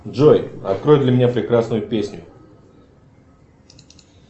джой открой для меня прекрасную песню